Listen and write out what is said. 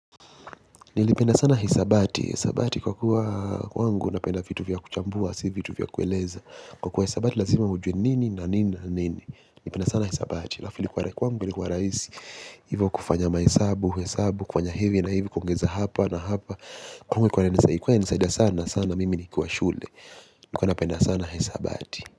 Nilipenda sana hisabati, hisabati kwa kuwa kwangu napenda vitu vya kuchambua, si vitu vya kueleza kwa kuwa hisabati lazima ujwe nini na nini na nini nilipenda sana hisabati, alafu kwangu ni kwa rahisi. Hivo kufanya mahesabu, hesabu, kufanya hivi na hivi, kuongeza hapa na hapa kwaangu ilikuwa inisaida sana sana, mimi nikuwa shule nilipenda sana hisabati.